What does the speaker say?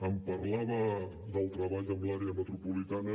em parlava del treball amb l’àrea metropolitana